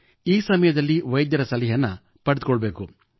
ಈ ಸಮಯದಲ್ಲಿ ವೈದ್ಯರ ಸಲಹೆಯನ್ನು ಪಡೆದುಕೊಳ್ಳಬೇಕು